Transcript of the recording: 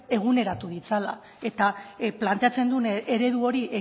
eguneratu ditzala eta planteatzen duen eredu hori